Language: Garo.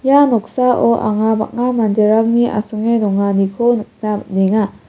ia noksao anga bang·a manderangni asonge donganiko nikna man·enga.